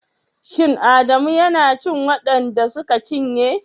Shin Adamu yana cikin waɗan da suka cinye?